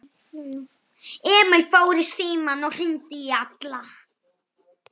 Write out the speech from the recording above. Emil fór í símann og hringdi í Alla.